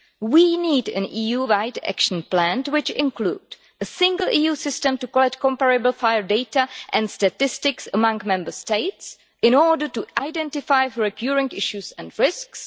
We need an EU wide action plan which includes a single EU system to collect comparable fire data and statistics among Member States in order to identify recurring issues and risks